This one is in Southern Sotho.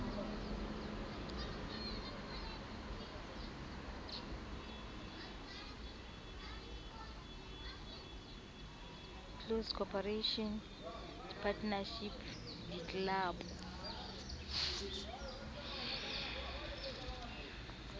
close corporation di partnership ditlelapo